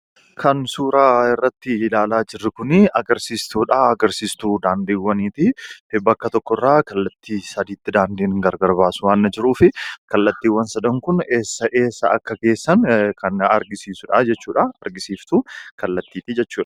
Kan suuraa irratti ilaalaa jirru kunii agarsiistuudha. Agarsiistuu daandiwwaniiti. Bakka tokkorraa kallattii saditti daandiin gargar baasu waan jiruufi kallattiiwwan sadan kun eessa, eessa akka geessan kan agarsiisudha jechuudha. Agarsiiftuu kallattiiti jechuudha.